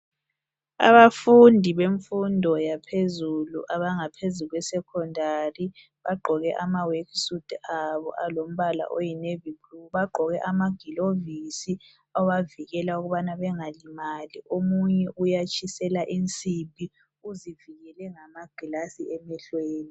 Abafundi bemfundo yaphezulu abangaphezu kwe "Secondary" bagqoke ama"work suit" abo alombala oyi "navy blue" bagqoke amagilovisi abavikela ukubana bengalimali omunye uyatshisela insimbi uzivikele ngama "glass" emehlweni.